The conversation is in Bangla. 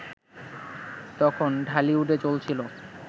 তখন ঢালিউডে চলছিল